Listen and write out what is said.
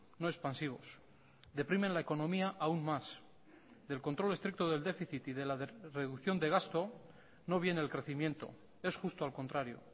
no expansivos deprimen la economía aún más del control estricto del déficit y de la reducción de gasto no viene el crecimiento es justo al contrario